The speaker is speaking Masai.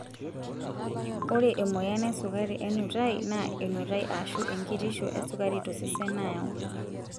Ore emoyian esukari enutai naa enutai aashu enkitisho esukari tosesen nayau.